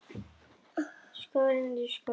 Skógarhögg er þegar hafið í skóginum